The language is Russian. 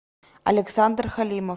александр халимов